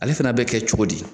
Ale fana bɛ kɛ cogo di ?